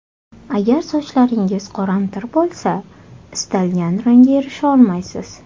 Agar sochlaringiz qoramtir bo‘lsa, istalgan rangga erisholmaysiz.